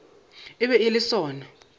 e be e le sona